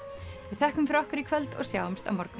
við þökkum fyrir okkur í kvöld og sjáumst á morgun